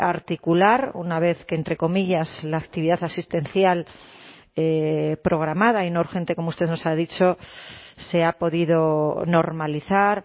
articular una vez que entre comillas la actividad asistencial programada y no urgente como usted nos ha dicho se ha podido normalizar